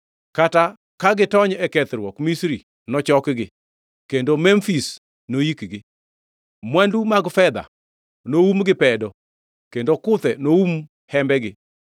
Kata ka gitony e kethruok, Misri nochokgi, kendo Memfis noikgi. Mwandu mag fedha noum gi pedo kendo kuthe noum hembegi.